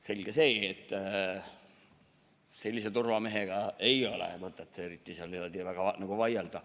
Selge see, et sellise turvamehega ei ole mõtet eriti seal niimoodi väga vaielda.